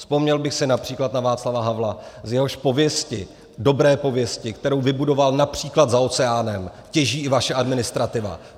Vzpomněl bych si například na Václava Havla, z jehož pověsti, dobré pověsti, kterou vybudoval například za oceánem, těží i vaše administrativa.